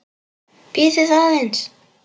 Bíðið aðeins.